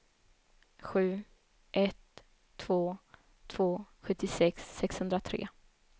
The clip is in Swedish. sju ett två två sjuttiosex sexhundratre